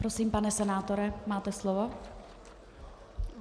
Prosím, pane senátore, máte slovo.